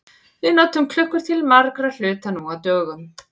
Við notum klukkur til margra hluta nú á dögum.